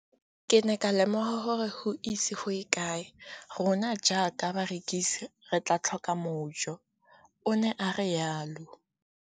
Ke ne ka lemoga gore go ise go ye kae rona jaaka barekise re tla tlhoka mojo, o ne a re jalo.